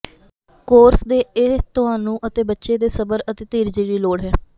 course ਦੇ ਇਹ ਤੁਹਾਨੂੰ ਅਤੇ ਬੱਚੇ ਦੇ ਸਬਰ ਅਤੇ ਧੀਰਜ ਦੀ ਲੋੜ ਹੈ